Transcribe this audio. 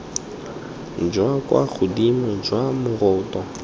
jwa kwa godimo jwa moroto